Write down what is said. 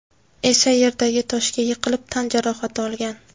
esa yerdagi toshga yiqilib tan jarohati olgan.